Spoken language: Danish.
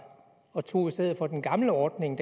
og tog i stedet for den gamle ordning